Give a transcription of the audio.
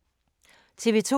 TV 2